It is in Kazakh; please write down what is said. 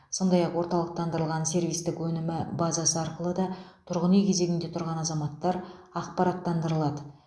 сондай ақ орталықтандырылған сервистік өнімі базасы арқылы да тұрғын үй кезегінде тұрған заматтар ақпараттандырылады